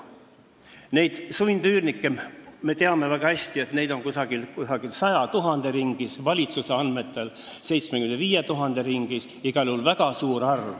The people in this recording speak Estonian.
Neid sundüürnikke, me teame väga hästi, on 100 000 ringis, valitsuse andmetel 75 000 ringis – igal juhul väga suur arv.